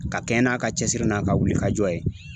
Ka kɛɲɛ n'a ka cɛsiri n'a ka wulikajɔ ye.